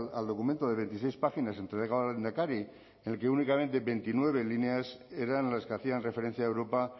al documento de veintiséis páginas entregado al lehendakari en el que únicamente veintinueve líneas eran las que hacían referencia a europa